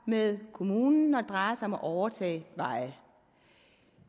med kommunen når det drejer sig om at overtage veje